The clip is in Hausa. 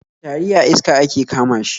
Tari a iska ake kama shi